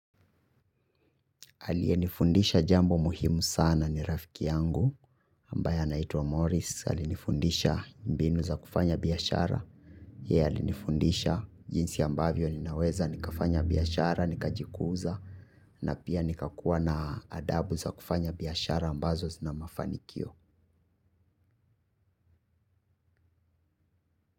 Alie nifundisha jambo muhimu sana ni rafiki yangu ambaye anaituwa Morris. Alinifundisha mbinu za kufanya biyashara. Ye alinifundisha jinsi ambavyo ninaweza nikafanya biyashara, nikajikuza na pia nikakuwa na adabu za kufanya biyashara ambazo zina mafanikio.